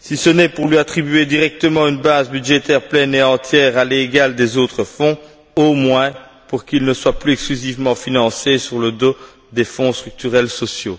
si ce n'est pour lui attribuer directement une base budgétaire pleine et entière à l'égal des autres fonds, au moins pour qu'il ne soit plus exclusivement financé sur le dos des fonds structurels sociaux.